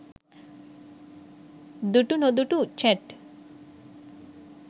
dutunodutu chat